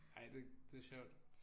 Ej det det er sjovt